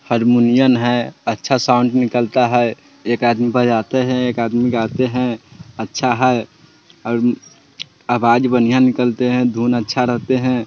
हरमुनियन हैय । अच्छा साउंड निकलता है एक आदमी बजाते हैं एक आदमी गाते हैं। अच्छा है और आवाज बनहिया निकलते हैं धुन अच्छा रहते हैं।